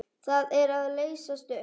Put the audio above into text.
Það er að leysast upp.